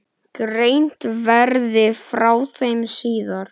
Greint verði frá þeim síðar.